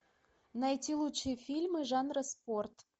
найти лучшие фильмы жанра спорт